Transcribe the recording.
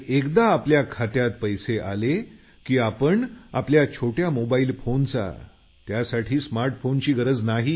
एकदा का आपल्या खात्यात पैसे आले की आपण आपल्या छोट्या मोबाईल फोनचा त्यासाठी स्मार्ट फोनची गरज नाही